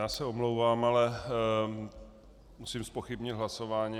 Já se omlouvám, ale musím zpochybnit hlasování.